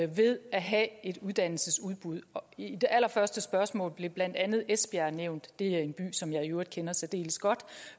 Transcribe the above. ved at have et uddannelsesudbud i det allerførste spørgsmål blev blandt andet esbjerg nævnt det er jo en by som jeg i øvrigt kender særdeles godt